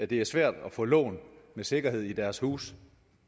det er svært at få lån med sikkerhed i deres huse